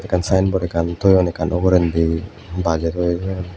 ten sign boarde ekkan toyonekkan ugurendi baje toye toyon.